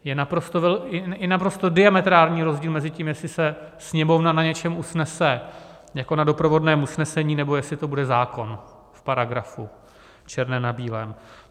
Je naprosto diametrální rozdíl mezi tím, jestli se Sněmovna na něčem usnese jako na doprovodném usnesení, nebo jestli to bude zákon, v paragrafu, černé na bílém.